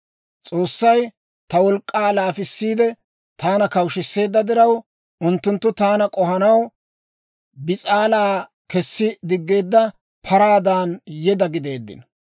S'oossay ta wolk'k'aa laafetsiide, taana kawushsheedda diraw, unttunttu taana k'ohanaw, bis'aalaa kessi diggeedda paraadan, yeda gideeddino.